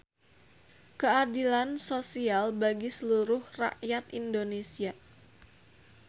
Keadilan sosial bagi seluruh rakyat indonesia.